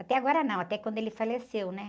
Até agora não, até quando ele faleceu, né?